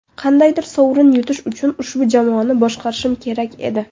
Qandaydir sovrin yutish uchun ushbu jamoani boshqarishim kerak edi.